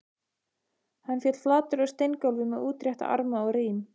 Hann féll flatur á steingólfið með útrétta arma og rím